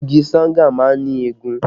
Igi Sanga má ń ní ègún